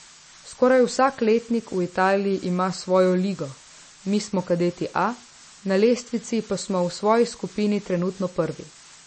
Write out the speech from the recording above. Skoraj vsak letnik v Italiji ima svojo ligo, mi smo kadeti A, na lestvici pa smo v svoji skupini trenutno prvi.